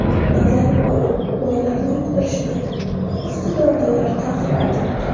Nazarboyev: Boylarni yoqtirishmaydi, iqtidorlilar ta’qib etiladi.